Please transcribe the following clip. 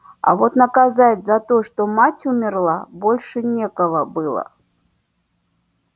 а вот наказать за то что мать умерла больше некого было